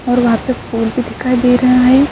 اور وہاں پر پول بھی دکھائی دے رہا ہے۔